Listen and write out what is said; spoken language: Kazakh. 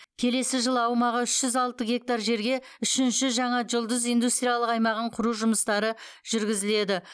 келесі жылы аумағы үш жүз алты гектар жерге үшінші жаңа жұлдыз индустриялық аймағын құру жұмыстары жүргізіледі